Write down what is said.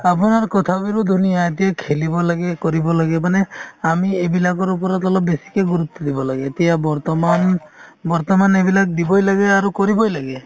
আপোনাৰ কথাবোৰো ধুনীয়া, এতিয়া খেলিব লাগে , কৰিব লাগে মানে আমি এইবিলাকৰ ওপৰত অলপ বেচিকে গুৰুত্ব দিব লাগে । এতিয়া বৰ্তমান বৰ্তমান এইবিলাক দিবই লাগে আৰু কৰিবই লাগে